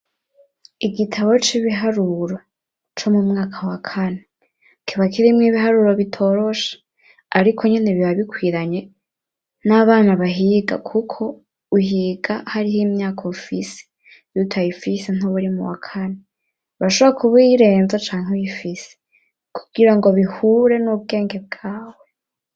Igitabo c'ibiharuro co mu mwaka wa kane, kiba kirimwo ibiharuro bitoroshe, ariko nyene biba bikwiranye n'abana bahiga kuko, uhiga hariho imyaka ufise; iyo utayifise ntuba uri mu wa kane, urashobora kuba uyirenza canke uyifise, kugira ngo bihure n'ubwenge bwawe.